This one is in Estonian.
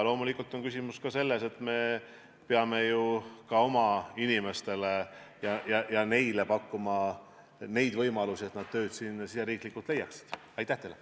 Loomulikult on küsimus ka selles, et me peame ju ka oma inimestele pakkuma neid võimalusi, et nad siin riigi sees tööd leiaks.